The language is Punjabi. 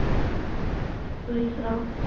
ਕੋਈ ਵੀ ਸੁਣਾਓ